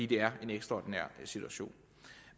det er en ekstraordinær situation